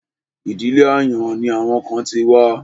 Ìdílé àyàn ni àwọn kan ti wá.